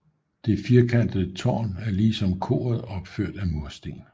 Det firekantede tårn er lige som koret opført af mursten